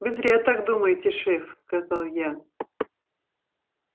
вы зря так думаете шеф сказал я